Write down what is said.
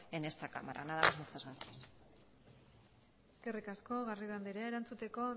en esta cámara nada más muchas gracias eskerrik asko garrido andrea erantzuteko